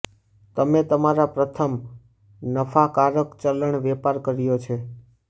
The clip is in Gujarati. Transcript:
તમે તમારા પ્રથમ નફાકારક ચલણ વેપાર કર્યો છે